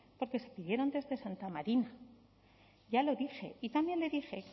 porque se pidieron desde santa marina ya lo dije y también le dije